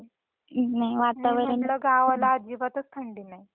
नाही वातावरण इकडे गावाला तर अजिबातच थंडी नाही.